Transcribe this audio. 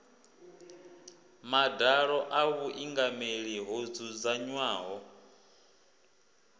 madalo a vhuingameli ho dzudzanywaho